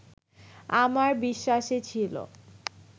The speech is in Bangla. আমার বিশ্বাসে ছিল